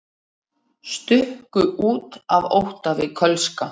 Stukku út af ótta við kölska